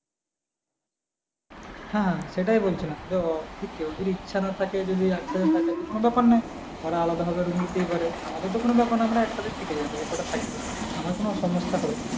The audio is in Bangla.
হ্যাঁ সেটাই বলছিলাম কেউ যদি ইচ্ছা না থাকে যদি একসাথে থাকে তাহলে তো কোনো ব্যাপার নয় ওরা আলাদা ভাবে room নিতেই পারে আমাদের তো কোনো ব্যাপার নয় আমরা একসাথে থেকে যাবো যে কটা থাকবে আমাদের কোনো সমস্যা হবে না।